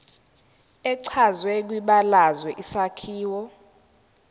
echazwe kwibalazwe isakhiwo